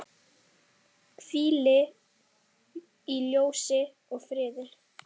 Hvíl í ljósi og friði.